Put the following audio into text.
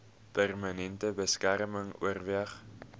permanente beskerming oorweeg